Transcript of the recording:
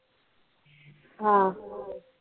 हा